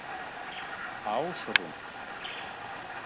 Ásrún